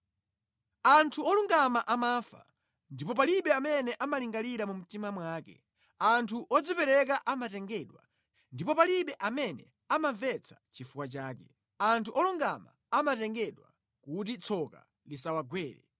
Anthu olungama amafa, ndipo palibe amene amalingalira mu mtima mwake; anthu odzipereka amatengedwa, ndipo palibe amene amamvetsa chifukwa chake. Anthu olungama amatengedwa kuti tsoka lisawagwere.